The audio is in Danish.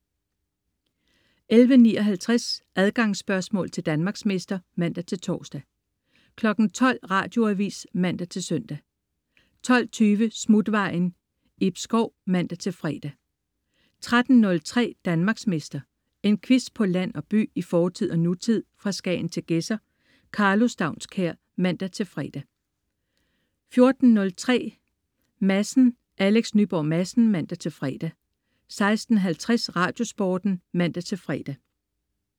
11.59 Adgangsspørgsmål til Danmarksmester (man-tors) 12.00 Radioavis (man-søn) 12.20 Smutvejen. Ib Schou (man-fre) 13.03 Danmarksmester. En quiz på land og by, i fortid og nutid, fra Skagen til Gedser. Karlo Staunskær (man-fre) 14.03 Madsen. Alex Nyborg Madsen (man-fre) 16.50 Radiosporten (man-fre)